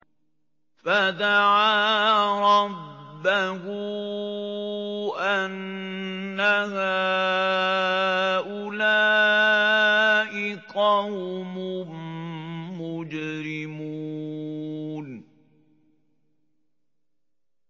فَدَعَا رَبَّهُ أَنَّ هَٰؤُلَاءِ قَوْمٌ مُّجْرِمُونَ